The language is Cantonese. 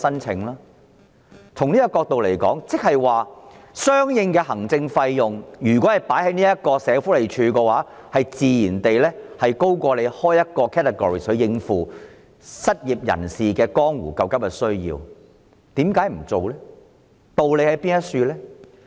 從類別角度來說，相應用於社署的行政費，自然高於新增一個類別來處理失業人士江湖救急需要所耗用的行政費。